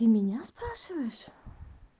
ты меня спрашиваешь